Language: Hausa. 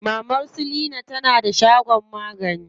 Maman su leena na da shagon magani.